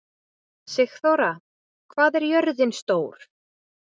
Sigþóra, hvað er jörðin stór?